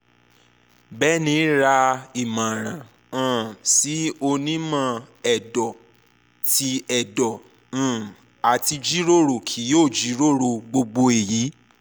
bẹ̃ni ra imọran um si onimọ-ẹdọ ti ẹdọ um ati jiroro ki o jiroro gbogbo eyi